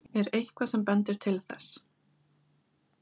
Er eitthvað sem bendir til þess?